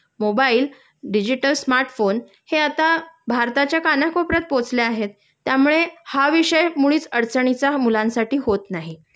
mobile, digital smartphone हे आता भारताच्या कानाकोपऱ्यात पोहोचले आहेत.त्यामुळे हा विषय मुळीच अडचणीचा मुलांसाठी होत नाही